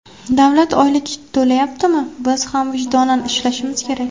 Davlat oylik to‘layaptimi, biz ham vijdonan ishlashimiz kerak.